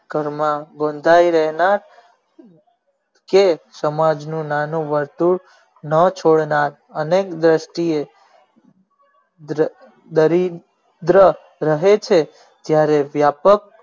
ઘર માં બંધાય રહેલા જે સમાજ નું નાનું વસ્તુ ન છોડનાર અમે વ્યકતિ ઓ દરિન્દ્ર રહે છે ત્યારે વ્યાપક